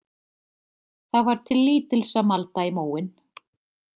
Það var til lítils að malda í móinn.